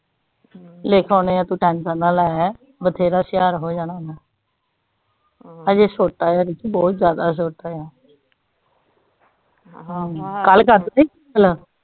ਲਿਖ ਆਨੇ ਆ ਤੂੰ ਟਸਨ ਨਾ ਲੇ ਬਥੇਰਾ ਛੁਹਾਰ ਹੋ ਜਾਣਾ ਓਨੇ ਅਮ ਅਜੇ ਛੋਟਾ ਹੈ ਬਹੁਤ ਜ਼ਿਆਦਾ ਛੋਟਾ ਆ ਅਮ ਕਲ